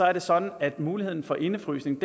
er det sådan at muligheden for indefrysning